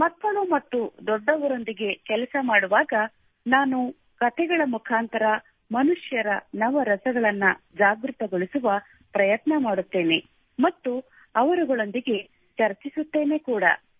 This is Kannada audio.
ಮಕ್ಕಳು ಮತ್ತು ದೊಡ್ಡವರೊಂದಿಗೆ ನಾನು ಕೆಲಸ ಮಾಡುವಾಗ ನಾನು ಕತೆಗಳ ಮುಖಾಂತರ ಮನುಷ್ಯನ ನವರಸಗಳನ್ನು ಜಾಗೃತಗೊಳಿಸುವ ಪ್ರಯತ್ನ ಮಾಡುತ್ತೇನೆ ಮತ್ತು ಅವರುಗಳೊಂದಿಗೆ ಚರ್ಚಿಸುತ್ತೇನೆ ಕೂಡಾ